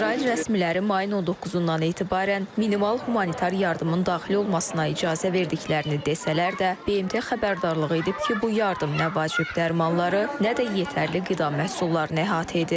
İsrail rəsmiləri mayın 19-dan etibarən minimal humanitar yardımın daxil olmasına icazə verdiklərini desələr də, BMT xəbərdarlığı edib ki, bu yardım nə vacib dərmanları, nə də yetərli qida məhsullarını əhatə edir.